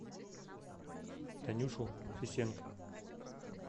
танюшу фесенко